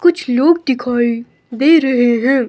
कुछ लोग दिखाई दे रहे हैं।